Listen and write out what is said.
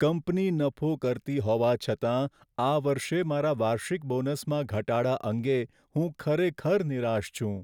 Company નફો કરતી હોવા છતાં, આ વર્ષે મારા વાર્ષિક બોનસમાં ઘટાડા અંગે હું ખરેખર નિરાશ છું.